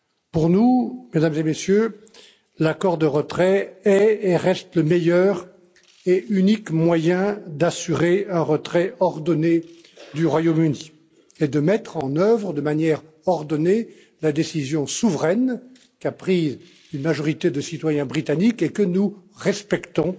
Pour nous, Mesdames et Messieurs, l'accord de retrait est et reste le meilleur et l'unique moyen d'assurer un retrait ordonné du Royaume Uni et de mettre en œuvre de manière ordonnée la décision souveraine qu'a prise une majorité des citoyens britanniques, que nous respectons,